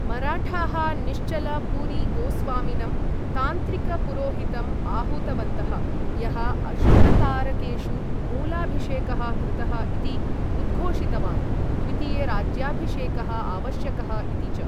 मराठाः निश्चल पुरी गोस्वामिनं तान्त्रिकपुरोहितं आहूतवन्तः, यः अशुभतारकेषु मूलाभिषेकः कृतः इति उद्घोषितवान्, द्वितीयराज्याभिषेकः आवश्यकः इति च।